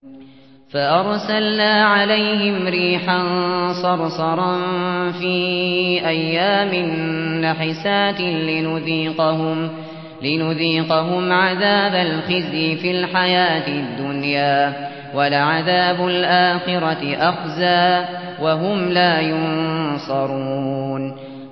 فَأَرْسَلْنَا عَلَيْهِمْ رِيحًا صَرْصَرًا فِي أَيَّامٍ نَّحِسَاتٍ لِّنُذِيقَهُمْ عَذَابَ الْخِزْيِ فِي الْحَيَاةِ الدُّنْيَا ۖ وَلَعَذَابُ الْآخِرَةِ أَخْزَىٰ ۖ وَهُمْ لَا يُنصَرُونَ